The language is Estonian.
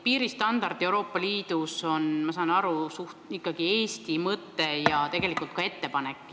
Piiristandard Euroopa Liidus on, ma saan aru, ikkagi suhteliselt Eesti mõte ja tegelikult ka ettepanek.